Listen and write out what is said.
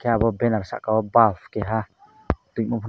abo benner saka o bulb keha tuimo.